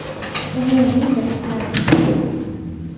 Umumiy jihatlarimiz ko‘p.